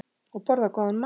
Og borða góðan mat.